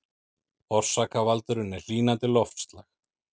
Orsakavaldurinn er hlýnandi loftslag